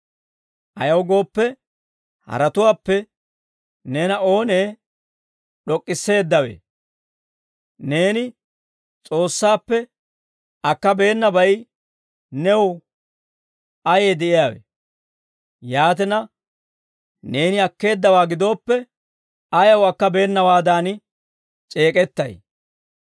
Ayaw gooppe, haratuwaappe neena oonee d'ok'k'isseeddawe? Neeni S'oossaappe akkabeenabay new ayee de'iyaawe? Yaatina, neeni akkeeddawaa gidooppe, ayaw akkabeenawaadan c'eek'ettay?